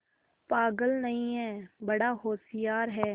पागल नहीं हैं बड़ा होशियार है